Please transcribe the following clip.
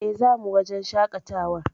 E, zamu wajen shaƙatawar.